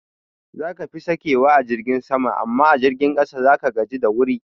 Zaka fi sakewa a jirgin sama amma a jirgin ƙasa zaka gaji da wuri